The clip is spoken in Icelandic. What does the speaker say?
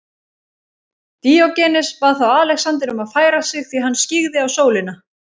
Díógenes bað þá Alexander um að færa sig því hann skyggði á sólina.